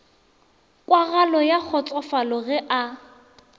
kwagalo ya kgotsofalo ge a